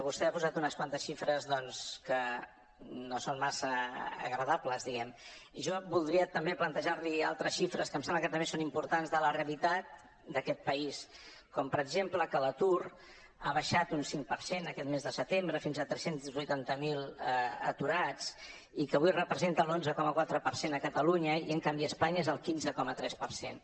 vostè ha posat unes quantes xifres doncs que no són massa agradables diguem ne jo voldria també plantejar li altres xifres que em sembla que també són importants de la realitat d’aquest país com per exemple que l’atur ha baixat un cinc per cent aquest mes de setembre fins a tres cents i vuitanta miler aturats i que avui representen l’onze coma quatre per cent a catalunya i en canvi a espanya és el quinze coma tres per cent